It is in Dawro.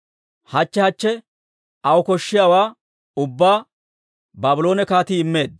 Hachche hachche aw koshshiyaawaa ubbaa Baabloone kaatii immeedda.